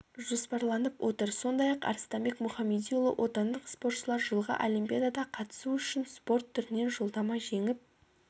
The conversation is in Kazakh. жоспарланып отыр сондай-ақ арыстанбек мұхамедиұлы отандық спортшылар жылғы олимпиадаға қатысу үшін спорт түрінен жолдама жеңіп